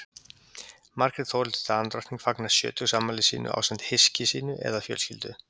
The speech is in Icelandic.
Margrét Þórhildur Danadrottning fagnar sjötugsafmæli sínu ásamt hyski sínu eða fjölskyldu.